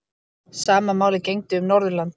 Sama máli gegndi um Norðurland.